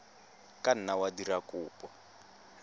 ka nna wa dira kopo